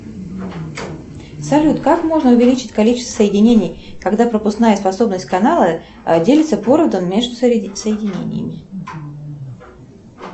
салют как можно увеличить количество соединений когда пропускная способность канала делится поровну между соединениями